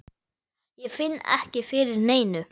Ég finn ekki fyrir neinu.